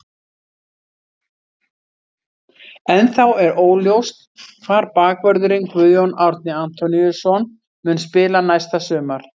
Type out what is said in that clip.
Ennþá er óljóst hvar bakvörðurinn Guðjón Árni Antoníusson mun spila næsta sumar.